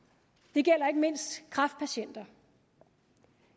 det gælder ikke mindst kræftpatienter